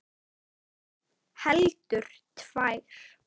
Heldur tvær.